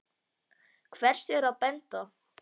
Hvers er að benda?